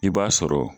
I b'a sɔrɔ